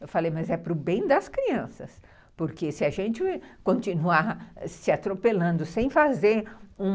Eu falei, mas é para o bem das crianças, porque se a gente continuar se atropelando sem fazer uma...